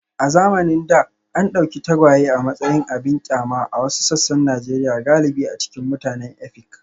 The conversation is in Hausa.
A zamanin da, an dauki tagwaye a matsayin abin kyama a wasu sassan Najeriya galibi a cikin mutanen Efik.